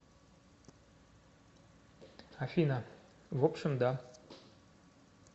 афина в общем да